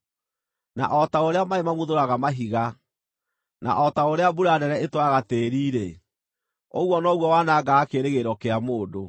na o ta ũrĩa maaĩ mamuthũraga mahiga, na o ta ũrĩa mbura nene ĩtwaraga tĩĩri-rĩ, ũguo noguo wanangaga kĩĩrĩgĩrĩro kĩa mũndũ.